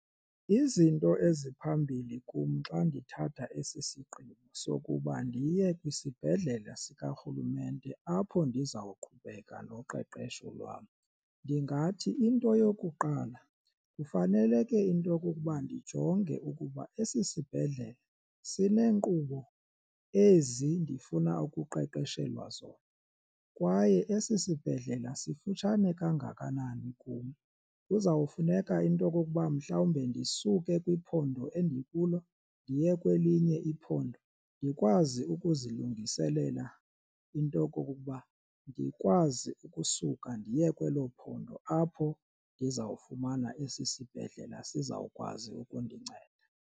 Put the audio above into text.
Izinto eziphambili kum xa ndithatha esi sigqibo sokuba ndiye kwisibhedlele sikarhulumente apho ndizawuqhubeka noqeqesho lwam, ndingathi into yokuqala kufanele ke into okokuba ndijonge ukuba esi sibhedlele sinenkqubo ezi ndifuna ukuqeqeshelwa zona. Kwaye esi sibhedlela sifutshane kangakanani kum kuzawufuneka into okokuba mhlawumbe ndisuke kwiphondo endikulo ndiye kwelinye iphondo ndikwazi ukuzilungiselela into okokuba ndikwazi ukusuka ndiye kwelo phondo apho ndizawufumana esi sibhedlela sizawukwazi ukundinceda.